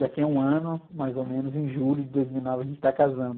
Daqui a um ano, mais ou menos, em julho de dois mil e nove, a gente tá casando.